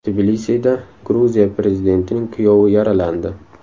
Tbilisida Gruziya prezidentining kuyovi yaralandi.